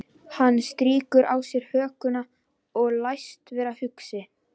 Hann strýkur á sér hökuna og læst vera hugsi.